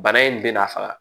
Bana in bɛ n'a faga